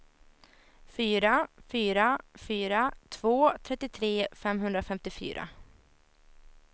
fyra fyra fyra två trettiotre femhundrafemtiofyra